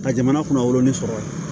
Ka jamana kunna wɔrɔnin sɔrɔ